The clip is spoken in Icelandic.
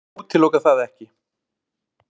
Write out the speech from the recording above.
Ég útiloka það ekki.